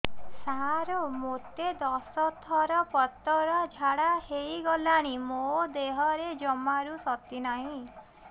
ସାର ମୋତେ ଦଶ ଥର ପତଳା ଝାଡା ହେଇଗଲାଣି ମୋ ଦେହରେ ଜମାରୁ ଶକ୍ତି ନାହିଁ